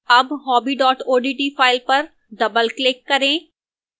double hobby odt file पर doubleclick करें